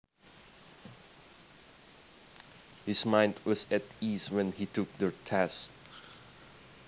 His mind was at ease when he took the test